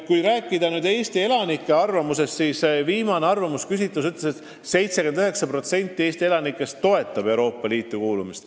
Kui rääkida Eesti elanike arvamusest, siis viimase küsitluse kohaselt 79% Eesti elanikest toetab Euroopa Liitu kuulumist.